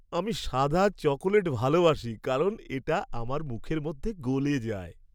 আমি সাদা চকোলেট ভালবাসি কারণ এটা আমার মুখের মধ্যে গলে যায়।